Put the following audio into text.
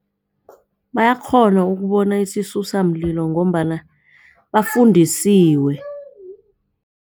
Bayakghona ukubona isisusamlilo ngombana bafundisiwe.